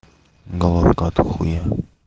головка от хуя